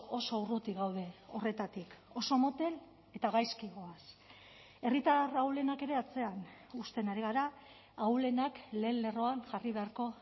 oso urruti gaude horretatik oso motel eta gaizki goaz herritar ahulenak ere atzean uzten ari gara ahulenak lehen lerroan jarri beharko